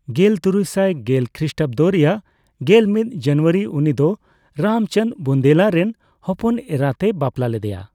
ᱜᱮᱞᱛᱩᱨᱩᱭᱥᱟᱭ ᱜᱮᱞ ᱠᱷᱨᱤᱥᱴᱟᱵᱫᱚ ᱨᱮᱭᱟᱜ ᱜᱮᱞᱢᱤᱫ ᱡᱟᱱᱩᱣᱟᱨᱤ ᱩᱱᱤᱫᱚ ᱨᱟᱢᱪᱟᱫ ᱵᱩᱱᱫᱮᱞᱟ ᱨᱮᱱ ᱦᱚᱯᱚᱱ ᱮᱨᱟᱛᱮ ᱵᱟᱯᱞᱟ ᱞᱮᱫᱮᱭᱟ ᱾